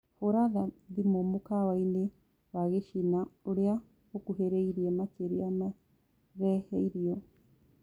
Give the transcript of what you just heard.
hũra thĩmũ mũkawaĩni wa gĩchĩna ũrĩa ukuhiriirie makĩrĩa mareheĩrĩo